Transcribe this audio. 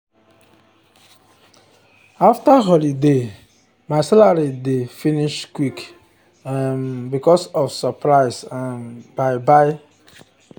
after holiday my salary dey finish quick um because of surprise um buy buy um